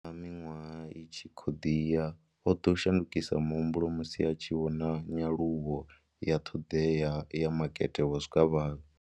Fhedziha, zwenezwi miṅwaha i tshi khou ḓi ya, o ḓo shandukisa muhumbulo musi a tshi vhona nyaluwo ya ṱhoḓea ya makete wa zwikavhavhe.